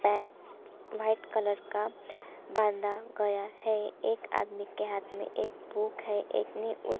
है white colour का बांधा गया है एक आदमी के हाथ में एक बुक है एक ने उस--